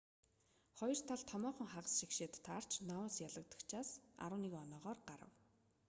хоёр тал томоохон хагас шигшээд таарч ноаус ялагчдаас 11 оноогоор гарав